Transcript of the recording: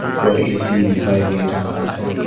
ऊपर ऐ_सी दिखाई दे रहा है।